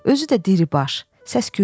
Özü də diribaş, səs-küylü idi.